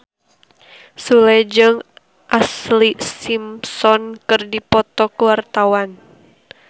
Sule jeung Ashlee Simpson keur dipoto ku wartawan